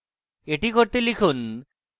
এটি করতে লিখুন: